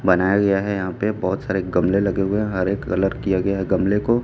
बनाया गया है यहाँ पे बहोत सारे गमले लगे हुए हरे कलर किया गया है गमले को --